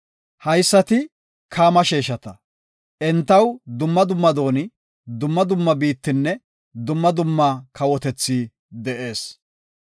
Haysati Kaama sheeshata; entaw dumma dumma dooni, dumma dumma biittinne dumma dumma kawotethi de7ees.